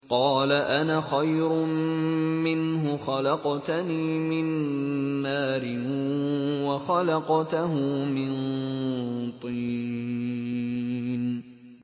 قَالَ أَنَا خَيْرٌ مِّنْهُ ۖ خَلَقْتَنِي مِن نَّارٍ وَخَلَقْتَهُ مِن طِينٍ